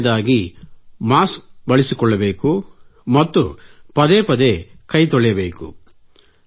ಎರಡನೇದಾಗಿ ಮಾಸ್ಕ ಬಳಸಿಕೊಳ್ಳಬೇಕು ಮತ್ತು ಪದೇ ಪದೇ ಕೈ ತೊಳೆಯಬೇಕು